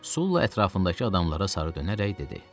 Sulla ətrafındakı adamlara sarı dönərək dedi: